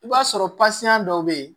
I b'a sɔrɔ dɔw bɛ yen